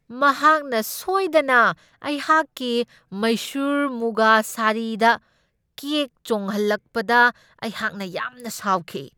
ꯃꯍꯥꯛꯅ ꯁꯣꯏꯗꯅ ꯑꯩꯍꯥꯛꯀꯤ ꯃꯩꯁꯨꯔ ꯃꯨꯒꯥ ꯁꯥꯔꯤꯗ ꯀꯦꯛ ꯆꯣꯡꯍꯜꯂꯛꯄꯗ ꯑꯩꯍꯥꯛꯅ ꯌꯥꯝꯅ ꯁꯥꯎꯈꯤ ꯫